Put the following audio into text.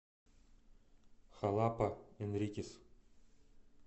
халапа энрикес